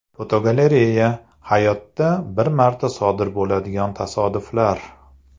Fotogalereya: Hayotda bir marta sodir bo‘ladigan tasodiflar.